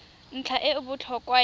ntlha e e botlhokwa ya